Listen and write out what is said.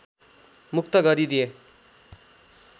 मुक्त गरिदिए